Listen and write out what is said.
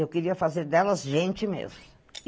Eu queria fazer delas gente mesmo.